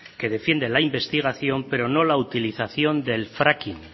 que defiende la investigación pero no la utilización del fracking